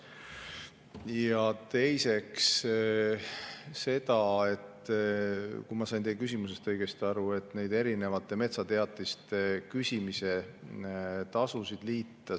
Ja teiseks, kui ma sain teie küsimusest õigesti aru, erinevate metsateatiste küsimise tasusid liita.